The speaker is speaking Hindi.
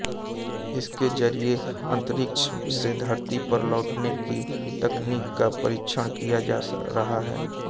इसके जरिये अंतरिक्ष से धरती पर लौटने की तकनीक का परीक्षण किया जा रहा है